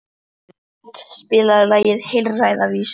Bót, spilaðu lagið „Heilræðavísur“.